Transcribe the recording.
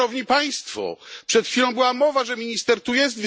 No, Szanowni Państwo, przed chwilą była mowa, że minister tu jest.